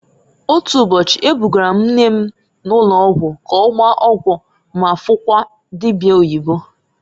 Otu ụbọchị, e bugara m nne m ụnọgwụ k'ọgbaa ọgwụ ma fukwuo dibia oyibo.